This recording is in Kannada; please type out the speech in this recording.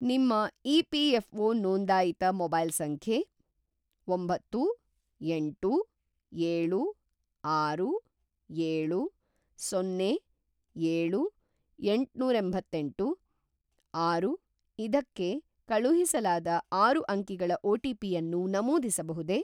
ನಿಮ್ಮ ಇ.ಪಿ.ಎಫ಼್.ಒ. ನೋಂದಾಯಿತ ಮೊಬೈಲ್‌ ಸಂಖ್ಯೆ ಒಂಬತ್ತು, ಎಂಟು, ಏಳು, ಆರು, ಏಳು, ಸೊನ್ನೆ, ಏಳು, ಎಂಟನೂರೆಂಬತ್ತೆಂಟು, ಆರು ಇದಕ್ಕೆ ಕಳುಹಿಸಲಾದ ಆರು ಅಂಕಿಗಳ ಒ.ಟಿ.ಪಿ.ಯನ್ನು ನಮೂದಿಸಬಹುದೇ?